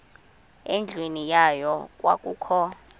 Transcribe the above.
endlwini yayo kwakukho